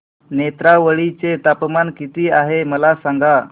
नेत्रावळी चे तापमान किती आहे मला सांगा